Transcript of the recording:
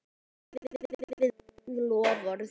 Stóð við loforð sín.